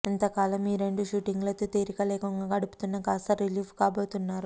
ఇంతకాలం ఈ రెండు షూటింగులతో తీరిక లేకుండా గడుపుతున్న కాస్త రిలీఫ్ కాబోతున్నారు